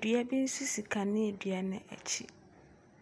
Dua bi nso si kanea dua no akyi.